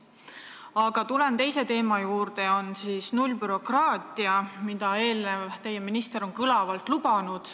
Aga tulen teise teema, nullbürokraatia juurde, mida teie eelkäija ministritoolil on kõlavalt lubanud.